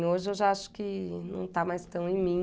Hoje eu já acho que não está mais tão em mim.